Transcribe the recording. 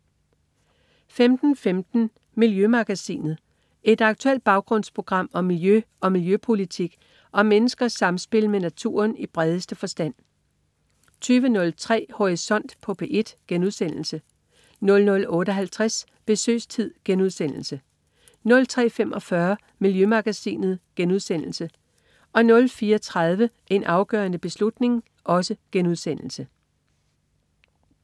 15.15 Miljømagasinet. Et aktuelt baggrundsprogram om miljø og miljøpolitik og om menneskers samspil med naturen i bredeste forstand 20.03 Horisont på P1* 00.58 Besøgstid* 03.45 Miljømagasinet* 04.30 En afgørende beslutning*